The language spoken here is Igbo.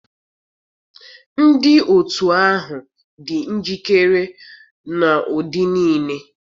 Ndị otu ahụ dị njikere n'ụdị niile